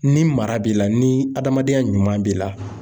Ni mara b'i la ni adamadenya ɲuman b'i la.